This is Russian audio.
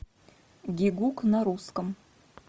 гиггук на русском